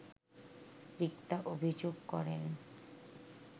রিক্তা অভিযোগ করেন